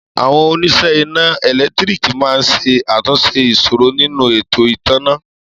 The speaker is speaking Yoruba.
Àwọn onísẹ́ iná ẹ̀lẹ́ntíríkì ma ń ṣe àtúnṣe ìṣòro nínú ètò ìtanná